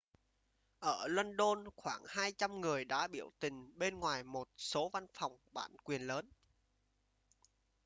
ở luân đôn khoảng 200 người đã biểu tình bên ngoài một số văn phòng bản quyền lớn